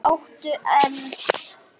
Það áttu enn.